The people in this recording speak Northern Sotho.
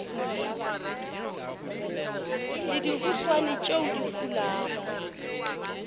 le dihuswane tšeo di fulago